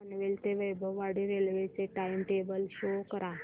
पनवेल ते वैभववाडी रेल्वे चे time table show करा